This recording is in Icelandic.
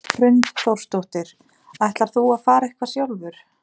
Hrund Þórsdóttir: Ætlar þú að fara eitthvað sjálfur?